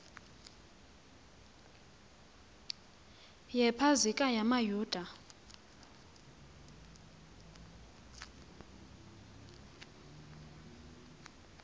yepa sika yamayuda